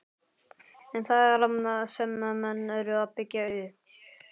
En hvað er það sem menn eru að byggja upp?